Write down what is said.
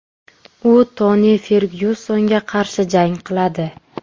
U Toni Fergyusonga qarshi jang qiladi.